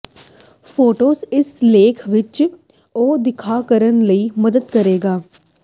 photos ਇਸ ਲੇਖ ਵਿਚ ਉਹ ਦਿਖਾ ਕਰਨ ਲਈ ਮਦਦ ਕਰੇਗਾ